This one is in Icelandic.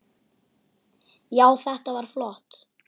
Já, þetta var flott.